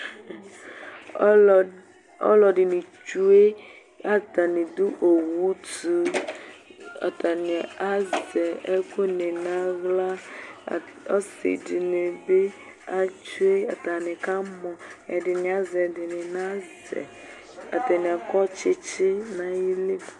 Ɔlɔ ɔlɔdɩnɩ tsue Atanɩ dʋ owu tʋ Atanɩ azɛ ɛkʋnɩ nʋ aɣla At ɔsɩ dɩnɩ bɩ atsue Atanɩ kamɔ Ɛdɩnɩ azɛ, ɛdɩnɩ nazɛ, atanɩ akɔ tsɩtsɩ nʋ ayili